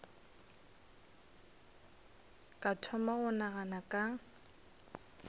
ka thoma go nagana ka